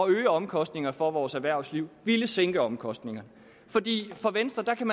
øge omkostningerne for vores erhvervsliv ville sænke omkostningerne i venstre kan